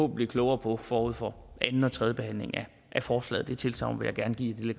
blive klogere på forud for anden og tredje behandling af forslaget det tilsagn vil jeg gerne give